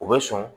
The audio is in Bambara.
U bɛ sɔn